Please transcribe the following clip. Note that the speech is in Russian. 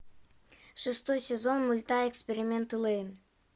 шестой сезон мульта эксперименты лэйн